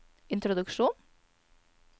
introduksjon